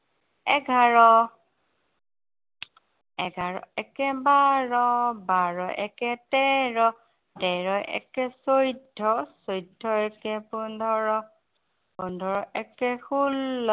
এঘাৰ। এঘাৰ একে বাৰ। বাৰ একে তেৰ, তেৰ একে চৈধ্য়, চৈধ্য় একে পোন্ধৰ, পোন্ধৰ একে ষোল্ল।